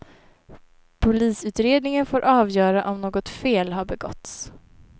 Polisutredningen får avgöra om något fel har begåtts.